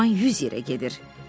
Güman yüz yerə gedir.